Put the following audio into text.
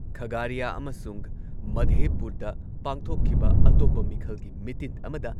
ꯈꯥꯥꯒꯥꯔꯤꯌꯥ ꯑꯃꯁꯨꯡ ꯃꯥꯙꯦꯄꯨꯔꯗ ꯄꯥꯡꯊꯣꯛꯈꯤꯕ ꯑꯇꯣꯞꯄ ꯃꯤꯈꯜꯒꯤ ꯃꯤꯇꯤꯟ ꯑꯃꯗ